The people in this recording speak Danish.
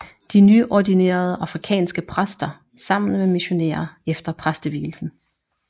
De nyordinerede afrikanske præster sammen med missionærer efter præstevielsen